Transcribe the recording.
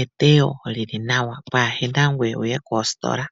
eteyo lyili nawa kwaahena we ngoye toyi koositola.